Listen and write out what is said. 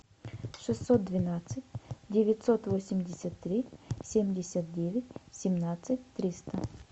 шестьсот двенадцать девятьсот восемьдесят три семьдесят девять семнадцать триста